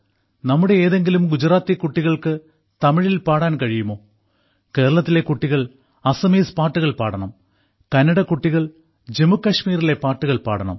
നമ്മുടെ ഏതെങ്കിലും ഗുജറാത്തി കുട്ടികൾക്ക് തമിഴിൽ പാടാൻ കഴിയുമോ കേരളത്തിലെ കുട്ടികൾ അസമീസ് പാട്ടുകൾ പാടണം കന്നഡ കുട്ടികൾ ജമ്മു കശ്മീരിലെ പാട്ടുകൾ പാടണം